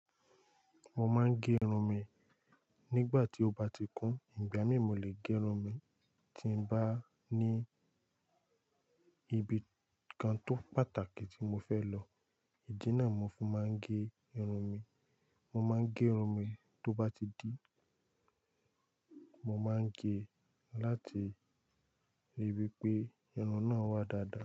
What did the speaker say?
Mo máa ń gé irun mi nígbà tí ó bá ti kún, ìgbà mí mú lè gé irun mi tí n bá ní ibi kan tó pàtàkì tí mo fẹ́ lọ, ìdí náà mo fi máa ń gé irun mi. Mo máa ń gé irun mi tó bá ti dí. Mo máa ń gé láti ríi wí pé irun náà wà dáadáa.